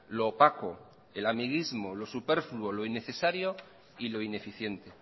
lo opaco el amiguismo lo superfluo lo innecesario y lo ineficiente